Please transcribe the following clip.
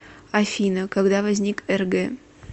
афина когда возник рг